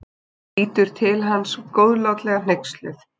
Lítur til hans góðlátlega hneyksluð.